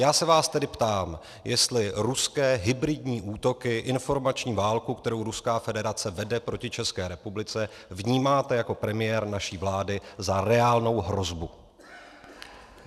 Já se vás tedy ptám, jestli ruské hybridní útoky, informační válku, kterou Ruská federace vede proti České republice, vnímáte jako premiér naší vlády za reálnou hrozbu.